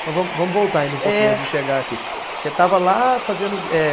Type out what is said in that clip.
Então vamos, vamos voltar ainda um pouquinho antes de chegar aqui. Você estava lá fazendo, eh